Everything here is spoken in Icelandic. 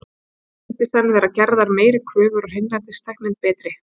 Þar virðast í senn vera gerðar meiri kröfur og hreinsitæknin betri.